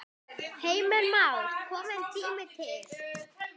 Heimir Már: Kominn tími til?